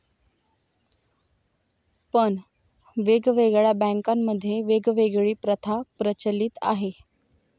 पण वेगवेगळ्या बँकामध्ये वेगवेगळी प्रथा प्रचलीत आहे.